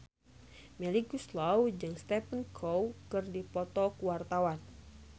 Melly Goeslaw jeung Stephen Chow keur dipoto ku wartawan